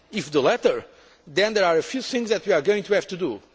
If the latter, then there are a few things we are going to have to